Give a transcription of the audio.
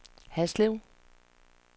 Haslev